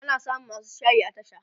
ana samun masu shayi a tasha